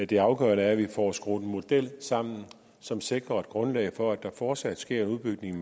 det afgørende er at vi får skruet en model sammen som sikrer et grundlag for at der fortsat sker en udbygning af